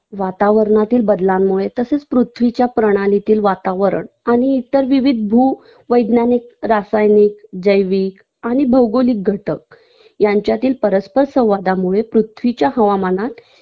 वातावरणातील बदलांमुळे तसंच पृथ्वीच्या प्रणालीतील वातावरण आणि इतर विविध भू वैज्ञानिक, रासायनिक, जैविक आणि भौगोलिक घटक यांच्यातील परस्पर संवादामुळे पृथ्वीच्या हवामानात